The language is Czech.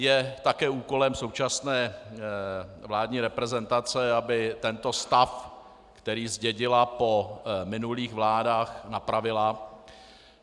Je také úkolem současné vládní reprezentace, aby tento stav, který zdědila po minulých vládách, napravila.